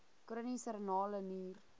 chroniese renale nier